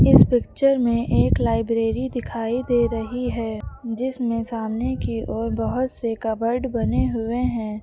इस पिक्चर में एक लाइब्रेरी दिखाई दे रही है जिसमें सामने की ओर बहुत से कपबोर्ड बने हुए हैं।